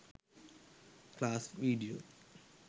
class video